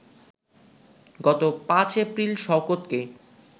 গত ৫ এপ্রিল শওকতকে